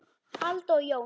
Alda og Jón.